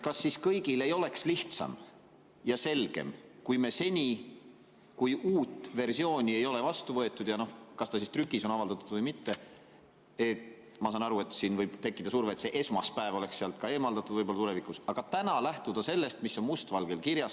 Kas kõigil ei oleks lihtsam ja selgem, kui me seni, kuni uut versiooni ei ole vastu võetud, kas ta siis on trükis avaldatud või mitte – ma saan aru, et siin võib tekkida surve, et see "esmaspäev" oleks sealt tulevikus võib‑olla eemaldatud –, lähtuksime sellest, mis on must valgel kirjas?